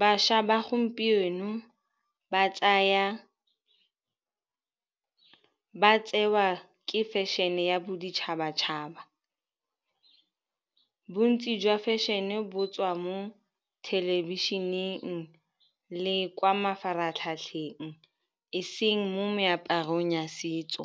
Bašwa ba gompieno ba tsewa ke fashion-e ya boditšhabatšhaba. Bontsi jwa fashion-e bo tswa mo thelebišeneng le kwa mafaratlhatlheng e seng mo meaparong ya setso.